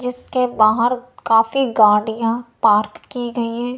इसके बाहर काफी गाड़ियां पार्क की गई हैं।